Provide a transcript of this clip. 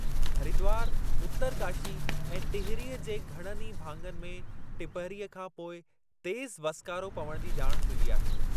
हरिदवार, उत्तरकाशी ऐं टिहरीअ जे घणनि ई भाङनि में टिपहरीअ खां पोइ तेज़ु वसिकारो पवण जी ॼाण मिली आहे।